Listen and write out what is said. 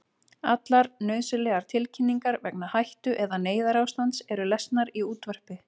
Allar nauðsynlegar tilkynningar vegna hættu- eða neyðarástands eru lesnar í útvarpi.